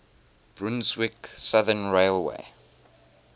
brunswick southern railway